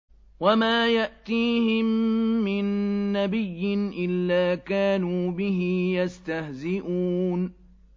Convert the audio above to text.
وَمَا يَأْتِيهِم مِّن نَّبِيٍّ إِلَّا كَانُوا بِهِ يَسْتَهْزِئُونَ